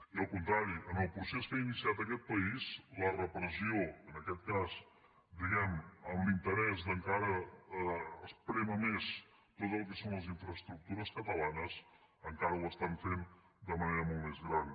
i al contrari en el procés que ha iniciat aquest país la repressió en aquest cas diguem ne en l’interès d’encara esprémer més tot el que són les infraestructures catalanes encara ho estan fent de manera molt més gran